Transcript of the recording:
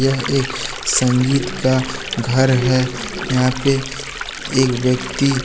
यह एक संगीत का घर है यहां पे एक व्यक्ति--